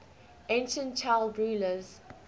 ancient child rulers